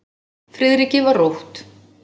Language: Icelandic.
Friðriki var rótt.